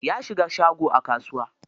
Ya shiga shago a kasuwa.